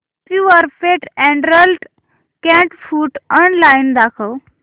Purepet adult cat food online दाखव